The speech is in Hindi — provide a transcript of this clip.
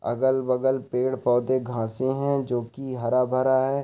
अगल-बगल पेड़-पौधे घासे है जोकि हरा-भरा है।